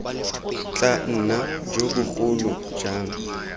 tla nna jo bogolo jang